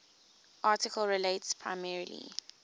article relates primarily